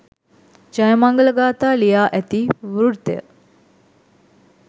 ජයමංගල ගාථා ලියා ඇති වෘත්තය